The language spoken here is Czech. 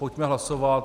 Pojďme hlasovat.